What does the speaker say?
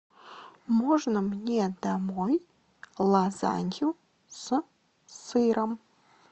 можно мне домой лазанью с сыром